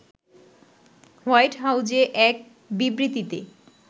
white হাউজে এক বিবৃতিতে